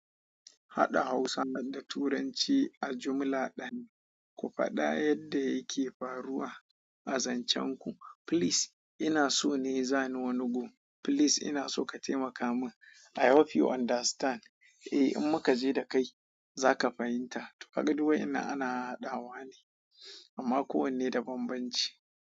Haɗa Hausa da Turanci a jumla ɗaya. Ku faɗa yadda yake faruwa a zancenku. Please, ina so ne zani wani gun. Please ina so ka taimaka man i hope you understand ehh in muka je da kai zaka fahimta tonkaga duk wayannan ana hahadawa ne amma kowane da babbanci.